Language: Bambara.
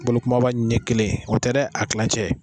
Bɔlikumaba ɲɛ kelen o tɛ dɛ a kilancɛ